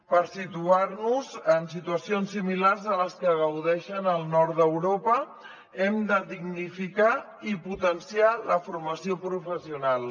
per situar nos en situacions similars a les que gaudeixen al nord d’europa hem de dignificar i potenciar la formació professional